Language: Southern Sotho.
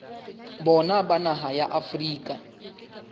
bona ba naha ya afrika